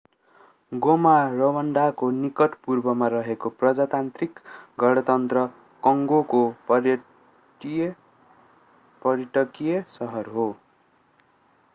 गोमा रवान्डाको निकट पूर्वमा रहेको प्रजातान्त्रिक गणतन्त्र कङ्गोको पर्यटकीय सहर हो